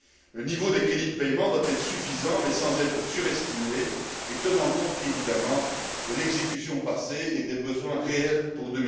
Le niveau des crédits de paiement doit être suffisant mais sans être surestimé et compte tenu évidemment de l'exécution passée et des besoins réels pour